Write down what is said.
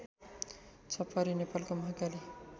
छपरी नेपालको महाकाली